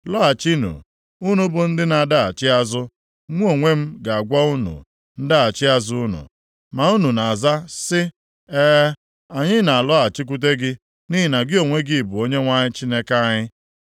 “Lọghachinụ, unu bụ ndị na-adaghachi azụ. Mụ onwe m ga-agwọ unu ndaghachi azụ unu.” + 3:22 Ga-eme unu ndị kwesiri ntụkwasị obi. Ma unu na-aza sị, “E, anyị na-alọghachikwute gị nʼihi na gị onwe gị bụ Onyenwe anyị Chineke anyị.